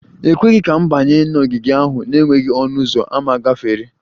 E kweghị ka m banye n'ogige ahụ n'enweghị ọnụ ụzọ ámá gafere